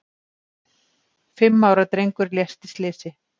Fimm ára drengur lést í slysi